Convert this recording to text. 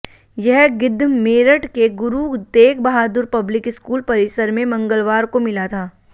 यह गिद्ध मेरठ के गुरु तेग बहादुर पब्लिक स्कूल परिसर में मंगलवार को मिला था